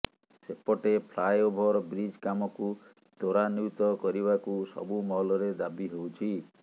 ସେପଟେ flyover bridge କାମକୁ ତ୍ବରାନ୍ବିତ କରିବା କୁ ସବୁ ମହଲରେ ଦାବି ହେଉଛି